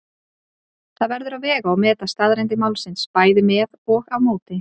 Það verður að vega og meta staðreyndir málsins bæði með og á móti.